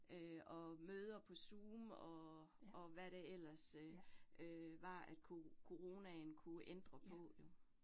Øh og møder på Zoom og og hvad det ellers øh øh var, at coronaen kunne ændre på jo